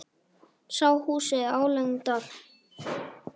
Sá húsið álengdar.